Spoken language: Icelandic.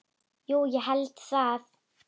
Jú ég held það.